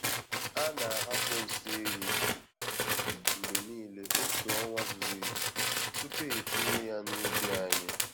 A na-ahapụ nsị ehi mgbe niile otu ọnwa zuru ezu tupu etinye ya n'ubi anyị.